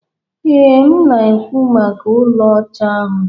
Ee, m na-ekwu maka ụlọ ọcha ahụ.